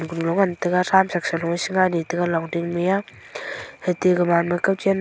kunlo ngan taiga thramshak saloe shingani taiga longding mia ate gaman ma kawchen.